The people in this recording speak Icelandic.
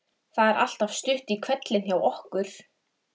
Alltaf svo góð lyktin í húsi Lúnu.